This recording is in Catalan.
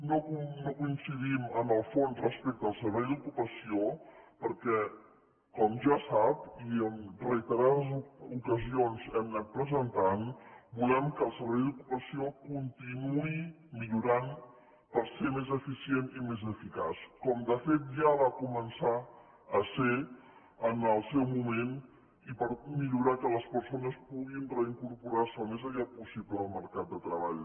no coincidim en el fons respecte al servei d’ocupació perquè com ja sap i en reiterades ocasions hem anat presentant volem que el servei d’ocupació continuï millorant per ser més eficient i més eficaç com de fet ja va començar a ser en el seu moment i per millorar que les persones puguin reincorporar se al més aviat possible al mercat de treball